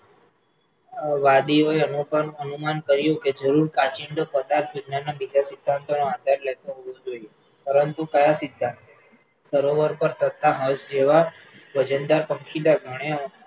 વાદીઓએ અનુમાન કર્યું કે જરૂર કાંચિડો કદાચ વિજ્ઞાનના બીજા સિદ્ધાંતોનો આધાર લેતું હોવું જોઈએ, પરંતુ કયા સિદ્ધાંત? સરોવર પર તટના મસ જેવા વજનદાર પક્ષીદાર